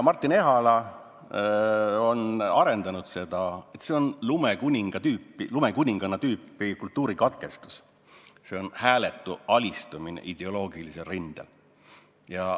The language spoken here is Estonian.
Martin Ehala on arendanud seda mõtet edasi, öeldes, et see on lumekuninganna tüüpi kultuurikatkestus, see on hääletu alistumine ideoloogilisel rindel.